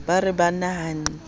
ke ba re ba nahanne